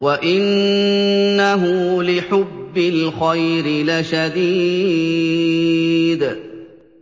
وَإِنَّهُ لِحُبِّ الْخَيْرِ لَشَدِيدٌ